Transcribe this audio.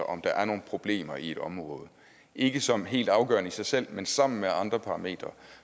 om der er nogle problemer i et område ikke som helt afgørende i sig selv men sammen med andre parametre